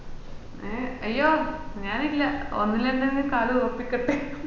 ഏഹ് അയ്യോ ഞാനില്ല ഒന്നിലന്നെ കാലുറപ്പിക്കട്ടെ